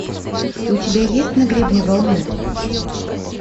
у тебя есть на гребне волны